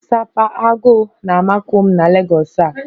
Sapa(aguu) na-amakụ m na Legọs a